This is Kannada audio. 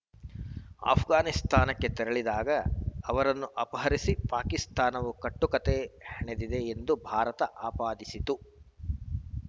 ಆಷ್ಘಾನಿಸ್ತಾನಕ್ಕೆ ತೆರಳಿದ್ದಾಗ ಅವರನ್ನು ಅಪಹರಿಸಿ ಪಾಕಿಸ್ತಾನವು ಕಟ್ಟುಕತೆ ಹೆಣೆದಿದೆ ಎಂದ ಭಾರತ ಆಪಾದಿಸಿತ್ತು